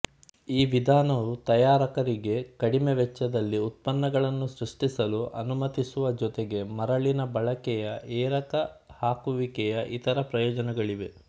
ಈ ವಿಧಾನವು ತಯಾರಕರಿಗೆ ಕಡಿಮೆ ವೆಚ್ಚದಲ್ಲಿ ಉತ್ಪನ್ನಗಳನ್ನು ಸೃಷ್ಟಿಸಲು ಅನುಮತಿಸುವ ಜೊತೆಗೆ ಮರಳಿನ ಬಳಕೆಯ ಎರಕ ಹಾಕುವಿಕೆಯ ಇತರ ಪ್ರಯೋಜನಗಳಿವೆ